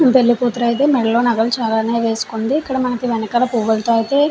పెళ్లికూతురు ఐతే మేడలో నగలు చాలానే వేసుకుంది. ఇక్కడ మనకి వెనకాల పువ్వులతో అయితే --